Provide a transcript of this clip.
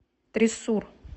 триссур